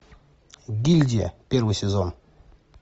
гильдия первый сезон